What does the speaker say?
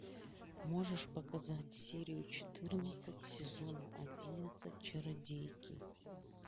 можешь показать серию четырнадцать сезона одиннадцать чародейки